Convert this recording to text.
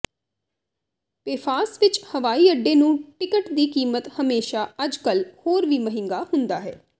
Paphos ਵਿੱਚ ਹਵਾਈ ਅੱਡੇ ਨੂੰ ਟਿਕਟ ਦੀ ਕੀਮਤ ਹਮੇਸ਼ਾ ਅੱਜਕੱਲ੍ਹ ਹੋਰ ਵੀ ਮਹਿੰਗਾ ਹੁੰਦਾ ਹੈ